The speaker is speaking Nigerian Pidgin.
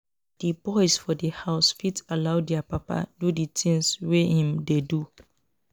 Di boys for di house fit follow their papa do di things wey im dey do